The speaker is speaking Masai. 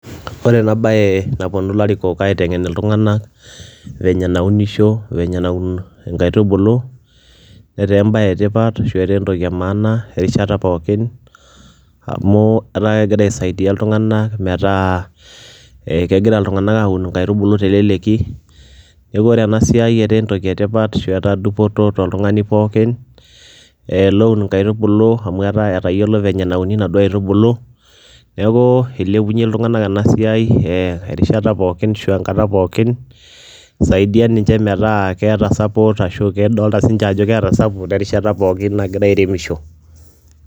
Ore ena baye naponu ilarikok aiteng'en iltung'anak venye naunisho, venye naun inkaitubulu, netaa embaye e tipat ashu etaa entoki e maana erishata pookin amu etaa kegira aisaidia iltung'anak metaa ee kegira iltung'anak aun nkaitubulu te leleki, neeku ore ena siai etaa entoki e tipat ashu etaa dupoto toltung'ani pookin loun nkaitubulu amu etaa etayiolo venye nauni inaduo aitubulu. Neeku ilepunye iltung'anak ena siai ee erishata pookin ashu enkata pookin, isaidia ninje metaa keeta support ashu kedolta siinje ajo keeta support erishata pookin nagira aremisho.